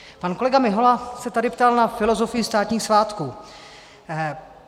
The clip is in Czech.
Pan kolega Mihola se tady ptal na filozofii státních svátků.